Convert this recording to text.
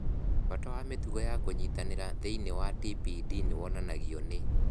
Bata wa mĩtugo ya kũnyitanĩra thĩinĩ wa TPD nĩ wonanagio nĩ